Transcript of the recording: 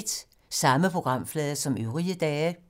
Samme programflade som øvrige dage